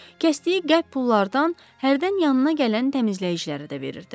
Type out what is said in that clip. Kəsdiyi qəlb pullardan hərdən yanına gələn təmizləyicilərə də verirdi.